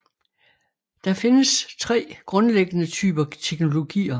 Der findes tre grundlæggende typer teknologier